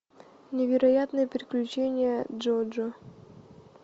невероятные приключения джоджо